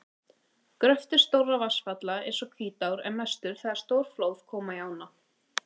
Gröftur stórra vatnsfalla eins og Hvítár er mestur þegar stór flóð koma í ána.